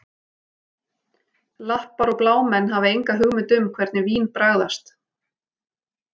Lappar og blámenn hafa enga hugmynd um hvernig vín bragðast